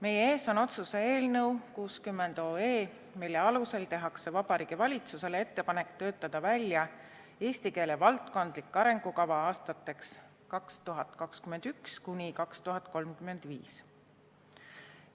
Meie ees on otsuse eelnõu 60, mille alusel tehakse Vabariigi Valitsusele ettepanek töötada välja eesti keele valdkondlik arengukava aastateks 2021–2035.